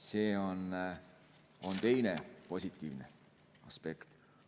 See on teine positiivne aspekt.